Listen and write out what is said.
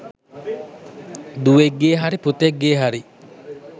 දුවෙක්ගේ හරි පුතෙක්ගේ හරි